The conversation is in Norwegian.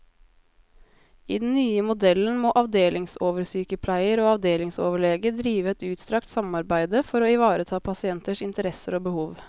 I den nye modellen må avdelingsoversykepleier og avdelingsoverlege drive et utstrakt samarbeide for å ivareta pasienters interesser og behov.